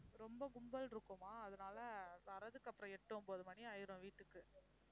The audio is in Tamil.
ரொம்ப கும்பல் இருக்குமா அதனால வர்றதுக்கு அப்புறம் எட்டு ஒன்பது மணி ஆயிடும் வீட்டுக்கு